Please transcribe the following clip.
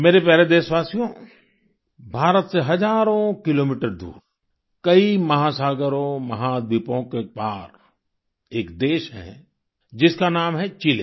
मेरे प्यारे देशवासियो भारत से हजारों किलोमीटर दूर कई महासागरों महाद्वीपों के पार एक देश है जिसका नाम है चिले